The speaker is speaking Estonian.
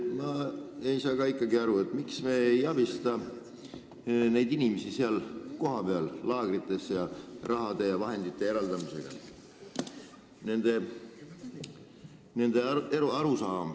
Ma ei saa ka aru, miks me ei abista neid inimesi kohapeal laagrites, eraldades neile raha ja muid vahendeid.